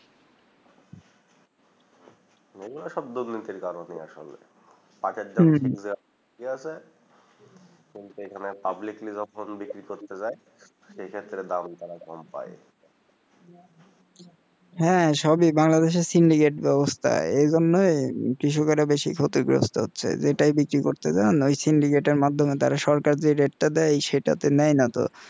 হ্যাঁ সবই বাংলাদেশের syndicate ব্যবস্থায় এজন্য কৃষকেরা বেশি ক্ষতিগ্রস্ত হচ্ছে যেটাই বিক্রি করতে যান ওই syndicate মাধ্যমে তারা সরকারি রেটটা দেয় সেটাতে নেয় না তো